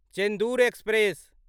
Chendur express